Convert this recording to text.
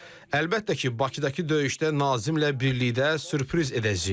Əlbəttə ki, Bakıdakı döyüşdə Nazimlə birlikdə sürpriz edəcəyik.